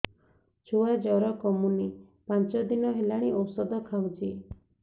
ଛୁଆ ଜର କମୁନି ପାଞ୍ଚ ଦିନ ହେଲାଣି ଔଷଧ ଖାଉଛି